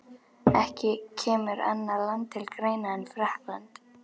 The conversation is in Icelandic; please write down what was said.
Ekki kemur annað land til greina en Frakkland.